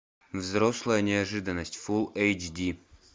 взрослая неожиданность фулл эйч ди